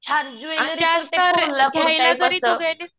छान ज्वेलरी असं